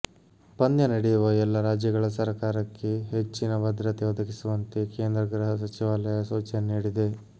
ಪಂದ್ಯ ನಡೆಯುವ ಎಲ್ಲ ರಾಜ್ಯಗಳ ಸರಕಾರಕ್ಕೆ ಹೆಚ್ಚಿನ ಭದ್ರತೆ ಒದಗಿಸುವಂತೆ ಕೇಂದ್ರ ಗೃಹ ಸಚಿವಾಲಯ ಸೂಚನೆ ನೀಡಿದೆ